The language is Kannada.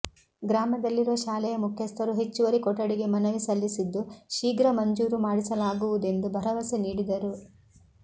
ಗ್ರಾಮದಲ್ಲಿರುವ ಶಾಲೆಯ ಮುಖ್ಯಸ್ಥರು ಹೆಚ್ಚುವರಿ ಕೊಠಡಿಗೆ ಮನವಿ ಸಲ್ಲಿಸಿದ್ದು ಶೀಘ್ರ ಮಂಜೂರು ಮಾಡಿಸಲಾಗುವು ದೆಂದು ಭರವಸೆ ನೀಡಿದರು